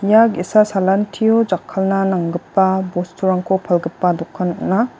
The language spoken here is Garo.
ia ge·sa salantio jakkalna nanggipa bosturangko palgipa dokan ong·a.